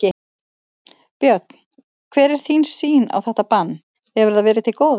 Björn: Hver er þín sýn á þetta bann, hefur það verið til góðs?